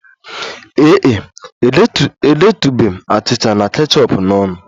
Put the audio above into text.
Ee e, edetụla m achịcha na kechọp n'ọnụ